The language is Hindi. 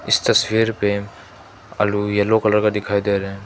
इस तस्वीर पे आलू यलो कलर का दिखाई दे रहा --